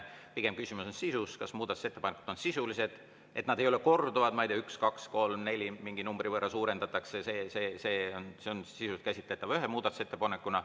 Pigem on küsimus sisus: kas muudatusettepanekud on sisulised, ega nad ei ole korduvad, ma ei tea, nii et mingi numbri võrra midagi suurendatakse, üks, kaks, kolm, neli, mis on sisuliselt käsitletav ühe muudatusettepanekuna.